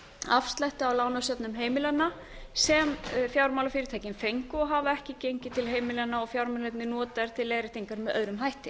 afslætti á lánasöfnum heimilanna sem fjármálafyrirtækin fengu og hafa ekki gengið til heimilanna og fjármunirnir notaðir til leiðréttingar með öðrum hætti